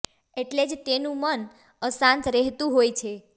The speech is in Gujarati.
એટલે જ તેનું મન અશાંત રહેતું હોય છે